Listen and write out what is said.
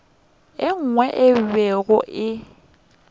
nngwe yeo e bego e